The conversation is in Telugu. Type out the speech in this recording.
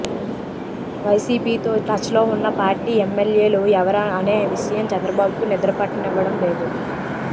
వైసీపీతో టచ్లో ఉన్న పార్టీ ఎమ్మెల్యేలు ఎవరా అనే విషయం చంద్రబాబుకు నిద్రపట్టనివ్వడం లేదు